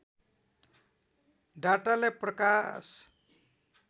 डाटालाई प्रकाश